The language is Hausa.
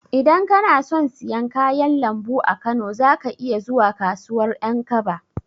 Idan kana son siyan kayan lambu a Kano, za ka iya zuwa kasuwar Ƴankaba.